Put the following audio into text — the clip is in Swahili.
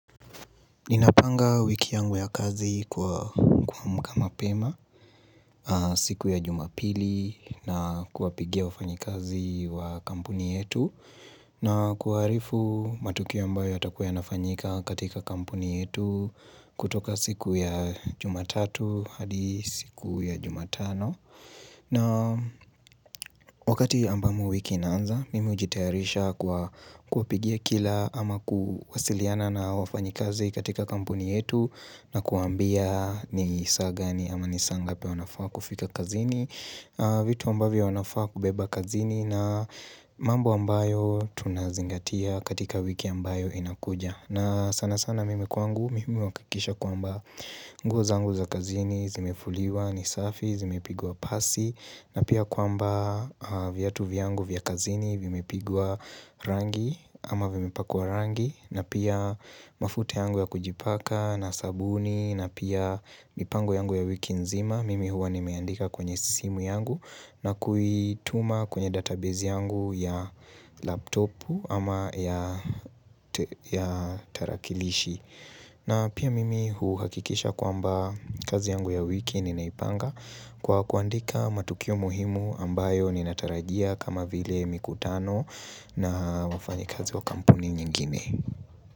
Ninapanga wiki yangu ya kazi kuamka mapema siku ya jumapili na kuwapigia wafanyikazi wa kampuni yetu na kuwaarifu matukio ambayo yatakuwa yanafanyika katika kampuni yetu kutoka siku ya jumatatu hadi siku ya jumatano na wakati ambamo wiki inaanza, mimi ujitayarisha kwa kuwapigia kila ama kuwasiliana na wafanyi kazi katika kampuni yetu na kuwambia ni saa gani ama ni saa ngapi wanafaa kufika kazini vitu ambavyo wanafaa kubeba kazini na mambo ambayo tunazingatia katika wiki ambayo inakuja na sana sana mimi kwangu, mimi huwakikisha kwamba nguo zangu za kazini, zimefuliwa, ni safi, zimepigwa pasi na pia kwamba viatu vyangu vya kazini, vimepigwa rangi ama vimepakwa rangi na pia mafuta yangu ya kujipaka na sabuni na pia mipango yangu ya wiki nzima Mimi huwa nimeandika kwenye simu yangu na kuituma kwenye database yangu ya laptopu ama ya tarakilishi na pia mimi huu hakikisha kwamba kazi yangu ya wiki ninaipanga Kwa kuandika matukio muhimu ambayo ninatarajia kama vile mikutano na wafanyikazi wa kampuni nyingine.